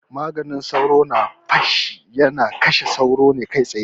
Maganin sauro na feshi yana kashe sauro ne kai tsaye